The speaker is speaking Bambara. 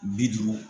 Bi duuru